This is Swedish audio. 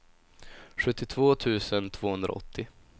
sjuttiotvå tusen tvåhundraåttio